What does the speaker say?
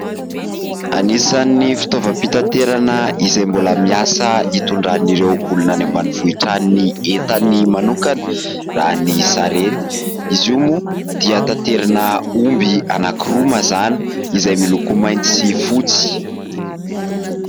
Anisany fitaovam-pitaterana izay mbola miasa hitondran'ireo olona any ambanivohitran ny entan'ny manokana raha ny sarety. Izy io moa dia taterina omby anankiroa mazana izay miloko mainty sy fotsy.